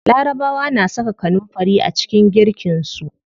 Larabawa na saka kanunfari a cikin girkin su.